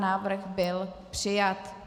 Návrh byl přijat.